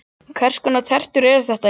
Hvers konar tertur eru þetta eiginlega?